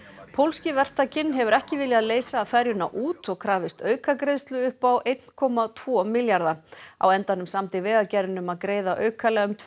pólski verktakinn hefur ekki viljað leysa ferjuna út og krafist aukagreiðslu upp á einn komma tvo milljarða á endanum samdi Vegagerðin um að greiða aukalega um tvö